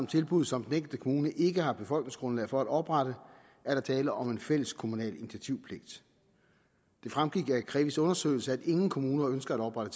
tilbud som den enkelte kommune ikke har befolkningsgrundlag for at oprette er der tale om en fælles kommunal initiativpligt det fremgik af krevis undersøgelser at ingen kommuner ønsker at oprette